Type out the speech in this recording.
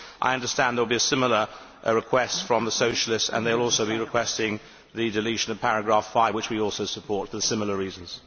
6. I understand there will be a similar request from the Socialists and they will also be requesting the deletion of paragraph 5, which we also support for similar reasons.